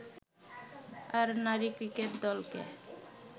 আর নারী ক্রিকেট দলকে